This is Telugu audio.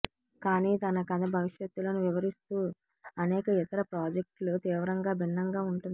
కానీ తన కథ భవిష్యత్తులో వివరిస్తూ అనేక ఇతర ప్రాజెక్టులు తీవ్రంగా భిన్నంగా ఉంటుంది